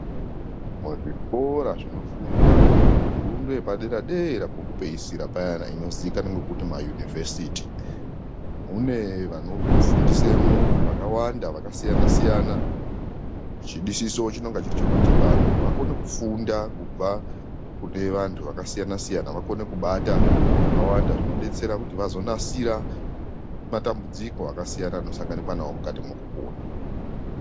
Muzvikora zvinofundwa fundo yepadera dera kwekupeisira payana inozikanzwa ngekuti ma univhesiti kunevanofundisemwo vakawanda vakasiyana siyana chidisiso chinonga chiri chekuti vantu vakone kufunda kubva kune vantu vakasiyana siyana vakone kubata zvakawanda zvinobetsera kuti vazonasira matambudziko akasiyana anosanganikwa nawo mukati mokupona.